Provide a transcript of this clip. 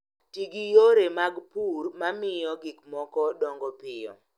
Ti gi yore mag pur ma miyo gik moko dongo piyo